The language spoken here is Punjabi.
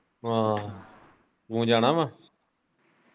ਆਹੋ ਤੁਸੀਂ ਜਾਣਾ ਵਾ।